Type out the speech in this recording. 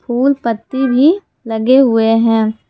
फूल पत्ती भी लगे हुए हैं।